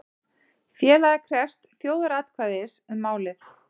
Félagið krefst þjóðaratkvæðis um málið